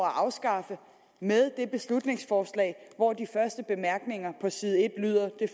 at afskaffe med dette beslutningsforslag hvor de første bemærkninger på side en lyder det